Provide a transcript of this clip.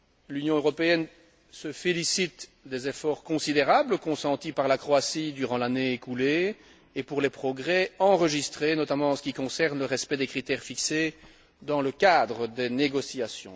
L'Union européenne se félicite des efforts considérables consentis par la Croatie durant l'année écoulée et des progrès enregistrés, notamment en ce qui concerne le respect des critères fixés dans le cadre des négociations.